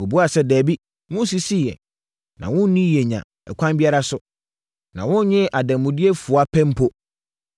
Wɔbuaa sɛ, “Dabi, wonsisii yɛn, na wonnii yɛn nya ɛkwan biara so, na wonnyee adanmudeɛ fua pɛ mpo.”